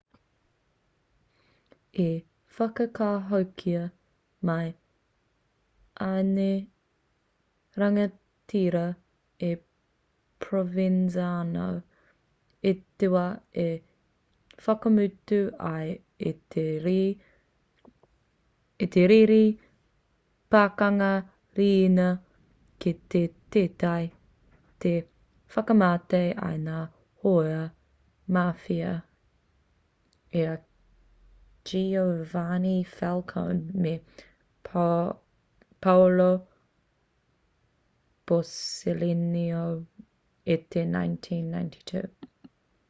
i whakahokia mai ēnei rangatira e provenzano i te wā i whakamutu ai i te riri pakanga riina ki te teiti i whakamate ai i ngā hōia mafia i a giovanni falcone me paolo borsellino i te 1992